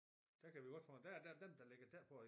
Der kan vi godt få en der der dem der ligger tæt på